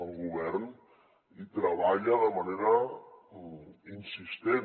el govern hi treballa de manera insistent